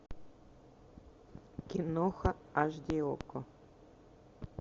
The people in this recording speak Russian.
киноха аш ди окко